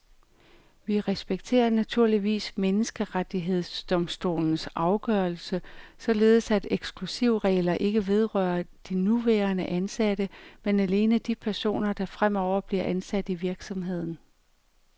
Vi respekterer naturligvis menneskerettighedsdomstolens afgørelse, således at eksklusivregler ikke vedrører de nuværende ansatte, men alene de personer, der fremover bliver ansat i virksomheden.